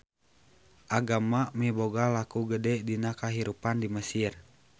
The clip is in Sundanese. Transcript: Agama miboga laku gede dina kahirupan di Mesir.